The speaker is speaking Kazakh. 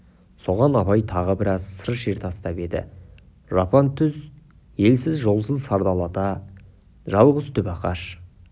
соған абай тағы біраз сыр шер тастап еді жапан түз елсіз жолсыз сардалада жалғыз түп ағаш